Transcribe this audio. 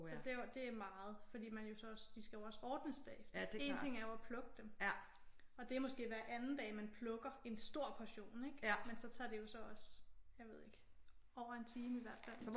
Så det er jo det er meget fordi man jo så også de skal jo også ordnes bagefter en ting er jo at plukke dem og det er måske hver anden dag man plukker en stor portion ik? Men så tager det jo så også jeg ved ikke over en time i hvert fald